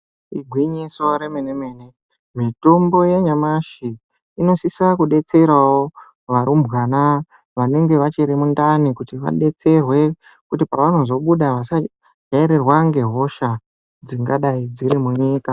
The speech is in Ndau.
Igwinyiso romene mene, mitombo yanyamashi inosisa kudetserawo varumbwana vanenge vachiri muntani, kuti vadetserwe kuti pavanozobuda vasateverwa nehosha dzingadai dziri munyika.